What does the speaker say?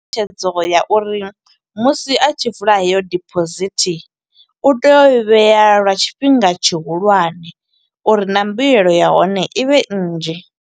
Tshedzo ya uri musi a tshi vula heyo deposit, u tea u i vhea lwa tshifhinga tshihulwane uri na mbuyelo ya hone i vhe nnzhi.